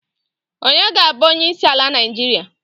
Onye ga-abu onyeisi ala naijiria?